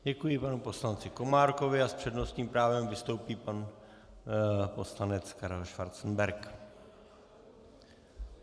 Děkuji panu poslanci Komárkovi a s přednostním právem vystoupí pan poslanec Karel Schwarzenberg.